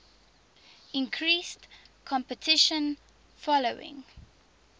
increased competition following